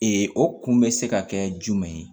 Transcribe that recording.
o kun bɛ se ka kɛ jumɛn ye